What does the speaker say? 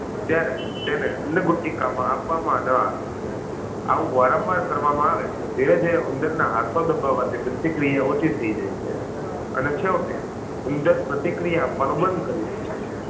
ત્યારે તેને અન્નગુટિકા માં આપવામાં ન આવે આવું વારંવાર કરવામાં આવે તો ધીરે ધીરે ઉંદર ના હાથો દબાવાની પ્રતિક્રિયા ઓછી થઈ જાય છે અને છેવટે ઉંદર પ્રતિક્રિયા આપવાનું બંધ કરીદે છે